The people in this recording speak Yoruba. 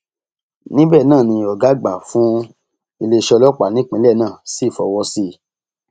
níbẹ náà ni ọgá àgbà fún iléeṣẹ ọlọpàá nípínlẹ náà sì fọwọ sí i